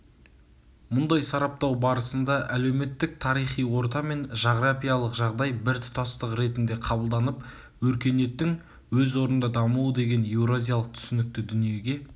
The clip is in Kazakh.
мұндай сараптау барысында әлеуметтік-тарихи орта мен жағырапиялық жағдай бір тұтастық ретінде қабылданып өркениеттің өз орнында дамуы деген еуразиялық түсінікті дүниеге